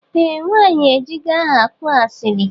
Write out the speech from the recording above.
Eeh nwanyi ejigo aha kụọ asili.